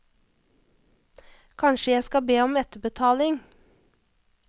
Kanskje jeg skal be om etterbetaling.